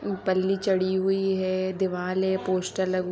छड़ी हुई हैं दीवारे हैं पोस्टर --